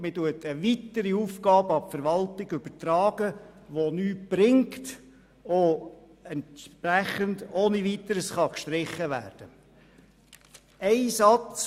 Man überträgt eine weitere Aufgabe an die Verwaltung, die nichts bringt und entsprechend ohne Weiteres gestrichen werden kann.